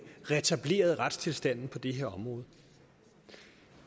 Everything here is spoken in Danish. retableret retstilstanden på det her område